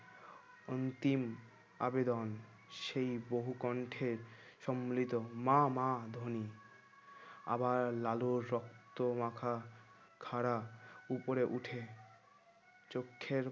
অন্তিম আবেদন সেই বহু কণ্ঠে সম্মিলিত মা মা ধনী আবার লালুর রক্তমাখা খাড়া উপরে উঠে চোখের